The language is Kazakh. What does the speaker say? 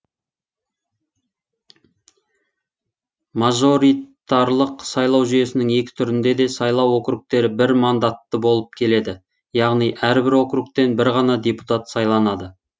мажоритарлық сайлау жүйесінің екі түрінде де сайлау округтері бір мандатты болып келеді яғни әрбір округтен бір ғана депутат сайланады